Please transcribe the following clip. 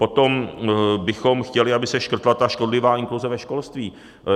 Potom bychom chtěli, aby se škrtla ta škodlivá inkluze ve školství.